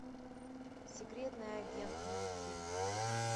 секретный агент найти